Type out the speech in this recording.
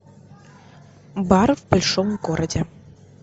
бар в большом городе